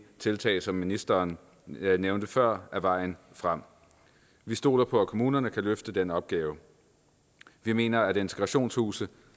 tiltag som ministeren nævnte før er vejen frem vi stoler på at kommunerne kan løfte den opgave vi mener at integrationshuse